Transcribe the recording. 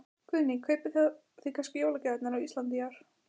Guðný: Kaupið þið þá kannski jólagjafirnar á Íslandi í ár?